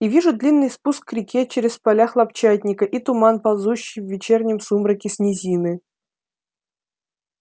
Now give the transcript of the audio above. и вижу длинный спуск к реке через поля хлопчатника и туман ползущий в вечернем сумраке с низины